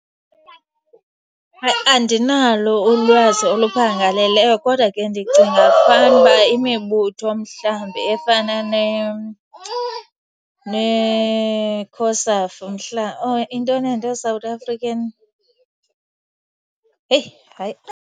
Hayi, andinalo ulwazi oluphangaleleyo kodwa ke ndicinga fanuba imibutho mhlawumbi efana neekhosafu mhlawumbe. Or intoni ezinto? South African, heyi hayi .